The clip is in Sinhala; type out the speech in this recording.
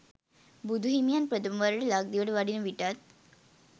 බුදු හිමියන් ප්‍රථම වරට ලක්දිවට වඩින විටත්